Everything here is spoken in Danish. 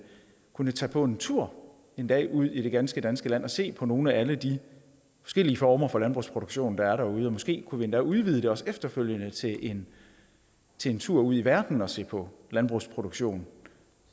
kunne tage på en tur en dag ud i det ganske danske land og se på nogle af alle de forskellige former for landbrugsproduktion der er derude og måske kunne vi endda udvide det også efterfølgende til en til en tur ud i verden for at se på landbrugsproduktion